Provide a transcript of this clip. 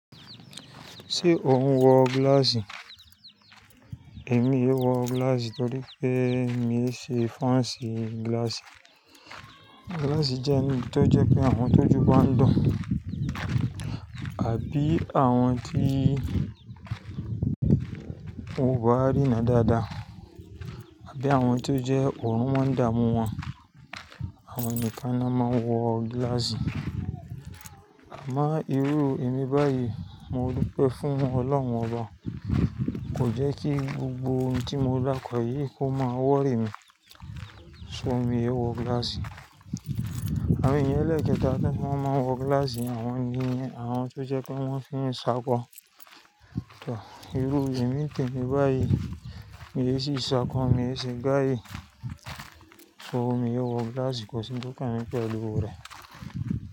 Ṣé ò ń wọ gíláàsì? Èmi ìí wọ gíláàsì torí pé miì í ṣe fans gíláàsì. Glass jẹ́ ohun tó jẹ́ pé àwọn tójú bá ń dùn àbí àwọn tí wọn ò bá rína dáadáa àbí àwọn tí ó jẹ́ òòrùn máa ń dààmú wọn. Àwọn nìkan n'ọ́n máa ń wọ gíláàsì. Àmọ́ irú èmi báyìí mo dúpẹ́ fún Ọlọ́run Ọba, kò jẹ́ kí gbogbo ohun tí mo dárúkọ yìí kó máa wọ́rì mí, so miì í wọ gíláàsì. Àwọn ènìyàn ẹlẹ́ẹ̀kẹta tí wọ́n máa ń wọ gíláàsì ni àwọn tó jẹ́ pé wọ́n fi ń ṣakọ. Ìrú èmi ní tèmi báyìí miì sì í ṣákọ, miì í ṣe guy, so miì í wọ gíláàsì, kò sí un tó kàn mí pẹ̀lú rẹ̀.